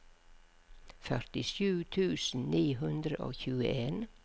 førtisju tusen ni hundre og tjueen